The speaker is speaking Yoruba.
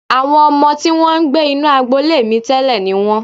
Àwọn ọmọ tí wọ́n ń gbé inú agbolé mi tẹ́lẹ̀ ni wọ́n